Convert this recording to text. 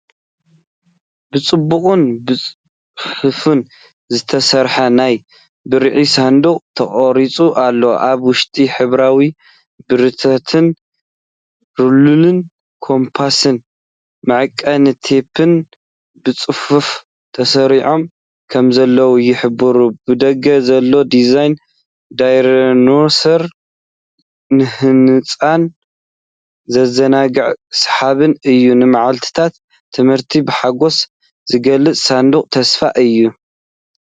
ብጽቡቕን ብጽፉፍን ዝተሰርዐ ናይ ብርዒ ሳንዱቕ ተቐሪጹ ኣሎ። ኣብ ውሽጢ ሕብራዊ ብርዒታትን ሩለርን ኮምፓስን መዐቀኒ ቴፕን ብጽፉፍ ተሰሪዖም ከምዘለው ይሕብር። ብደገ ዘሎ ዲዛይን ዳይኖሰር ንህጻናት ዘዘናግዕን ሰሓብን እዩ። ንመዓልታት ትምህርቲ ብሓጎስ ዝገልጽ ሳንዱቕ ተስፋ እዩ።